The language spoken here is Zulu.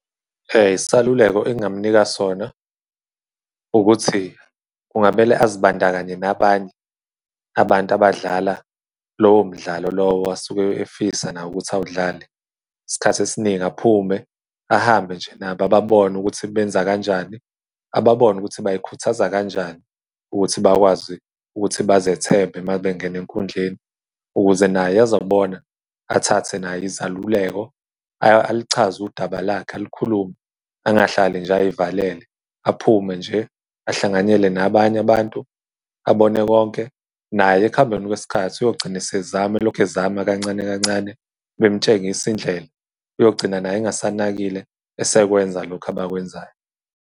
Isaluleko engamnika sona ukuthi, kungamele azibandakanye nabanye abantu abadala lowo mdlalo lowo asuke efisa nawo ukuthi awudlale. Isikhathi esiningi aphume ahambe nje nabo ababone ukuthi benzakanjani ababone ukuthi bay'khuthaza kanjani, ukuthi bakwazi ukuthi bazethembe uma bengena enkhundleni ukuze naye ezobona, athathe naye izaluleko alichaze udaba lakhe, alukhulume, angahlali nje, ay'valele. Aphume nje ahlanganyele nabanye abantu, abone konke, naye ekuhambeni kwesikhathi uyogcina esezama elokhu ezama kancane kancane, bemutshengise indlela uyogcina naye engasanakile, esakwenza lokhu abakwenzayo.